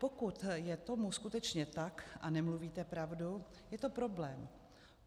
Pokud je tomu skutečně tak a nemluvíte pravdu, je to problém.